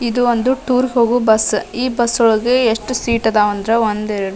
ಇದು ಒಂದು ಟೂರ್ ಹೋಗು ಬಸ್ಸ ಈ ಬಸ್ಸ್ ನಾಗ ಎಸ್ಟ್ ಸೀಟ್ ಅದಾವ ಅಂದ್ರೆ ಒಂದ್ ಎರಡ್ ಮೂರ್ --